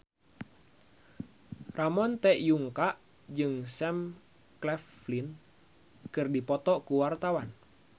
Ramon T. Yungka jeung Sam Claflin keur dipoto ku wartawan